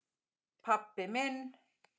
pabbi minn